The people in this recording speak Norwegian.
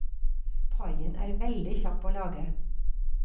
Paien er veldig kjapp å lage.